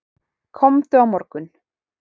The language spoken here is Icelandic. Komdu á morgun.